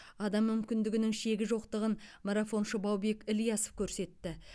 адам мүмкіндігінің шегі жоқтығын марафоншы баубек ілиясов көрсетті